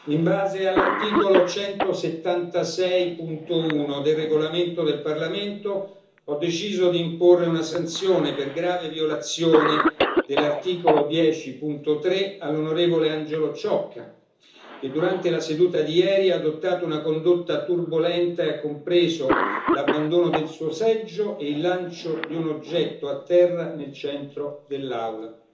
In base all'articolo 176, paragrafo 1, del regolamento del Parlamento, ho deciso di imporre una sanzione per grave violazione dell'articolo 10, paragrafo 3, all'onorevole Angelo Ciocca, che durante la seduta di ieri ha adottato una condotta turbolenta che ha compreso l'abbandono del suo seggio e il lancio di un oggetto a terra nel centro dell'Aula.